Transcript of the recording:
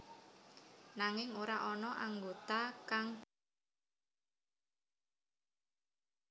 Nanging ora ana anggota kang ditokaké lan ditambahké anggota anyar